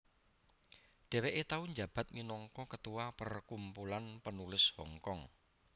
Dheweke tau njabat minangka ketua Perkumpulan Penulis Hongkong